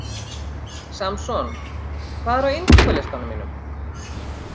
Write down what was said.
Samson, hvað er á innkaupalistanum mínum?